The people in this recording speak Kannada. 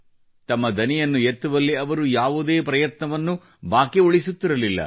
ತಮ್ಮ ದನಿಯನ್ನು ಎತ್ತುವಲ್ಲಿ ಅವರು ಯಾವುದೇ ಪ್ರಯತ್ನವನ್ನೂ ಬಾಕಿ ಉಳಿಸುತ್ತಿರಲಿಲ್ಲ